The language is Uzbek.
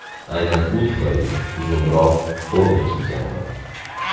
Aynan u tufayli uzunroq forma kiyganman”.